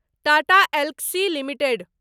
Tata Elxsi limited